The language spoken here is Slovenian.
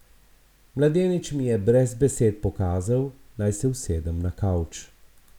Mladenič mi je brez besed pokazal, naj se usedem na kavč.